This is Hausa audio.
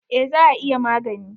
Eh, za a iya magani.